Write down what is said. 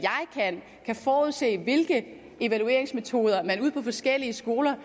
kan forudse hvilke evalueringsmetoder man vil på forskellige skoler